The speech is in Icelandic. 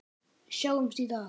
Við sjáumst í dag.